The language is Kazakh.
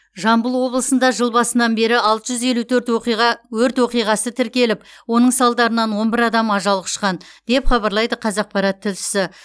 жамбыл облысында жыл басынан бері алты жүз елу төрт оқиға өрт оқиғасы тіркеліп оның салдарынан он бір адам ажал құшқан деп хабарлайды қазақпарат тілшісі